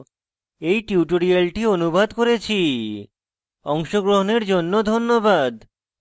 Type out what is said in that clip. আমি কৌশিক দত্ত এই টিউটোরিয়ালটি অনুবাদ করেছি অংশগ্রহণের জন্য ধন্যবাদ